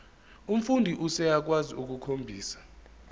umfundi useyakwazi ukukhombisa